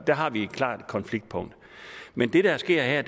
der har vi et klart konfliktpunkt men det der sker her